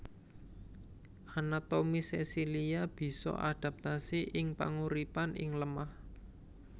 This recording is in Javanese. Anatomi sesilia bisa adaptasi ing panguripan ing lemah